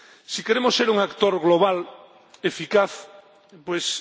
Si queremos ser un actor global, eficaz, pues...,